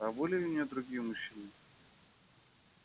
а были у неё другие мужчины